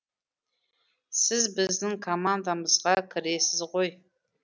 сіз біздің командамызға кіресіз ғой